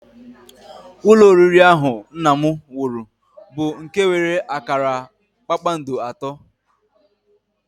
Ụlọ oriri ahụ nna m wuru bụ nke nwere akara kpakpando atọ